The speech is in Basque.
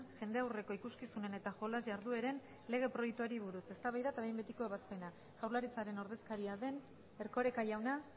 jendaurreko ikuskizunen eta jolas jardueren lege proiektuari buruz eztabaida eta behin betiko ebazpena jaurlaritzaren ordezkaria den erkoreka jauna